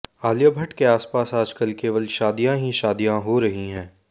आलिया भट्ट के आसपास आजकल केवल शादियां ही शादियां हो रही हैं